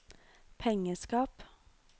pengeskap